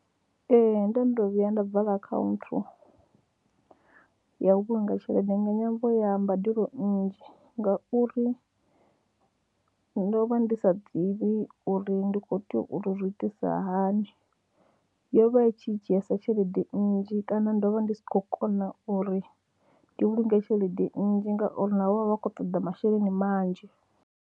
Ee, ndo no vhuya nda vala akhaunthu ya u vhulunga tshelede nga ṅwambo ya mbadelo nnzhi ngauri ndo vha ndi sa ḓivhi uri ndi khou tea u tou zwi itisa hani, yo vha i tshi dzhiesa tshelede nnzhi kana ndo vha ndi si khou kona uri ndi vhulunge tshelede nnzhi ngauri navho vha vha khou toḓa masheleni manzhi.